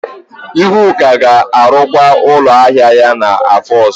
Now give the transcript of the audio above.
Ihuaku ga-arụkwa ụlọ ahịa ya n'afọ ọzọ.